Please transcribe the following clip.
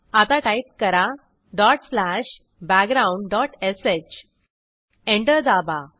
आता टाईप करा dot slash background dot श एंटर दाबा